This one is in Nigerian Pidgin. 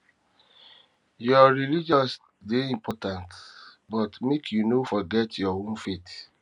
your religion dey important but make you no forget your own faith